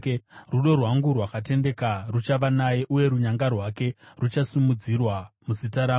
Rudo rwangu rwakatendeka ruchava naye, uye runyanga rwake ruchasimudzirwa muzita rangu.